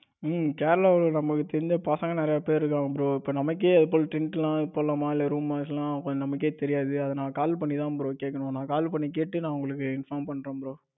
bro கேரளாவுல நம்மளுக்கு தெரிஞ்ச பசங்க நிறைய பேர் இருக்காங்க bro. இப்ப நமக்கே ஏதாவது tent எல்லாம் போடலாமா இல்ல room இருக்கலாமா நமக்கே தெரியாது. அதுனால தான் நான் call பண்ணி தான் bro கேட்கணும் நான் call பண்ணிதா bro கேக்கணும். நா call பண்ணி கேட்டு உங்களுக்கு inform பண்றேன் bro.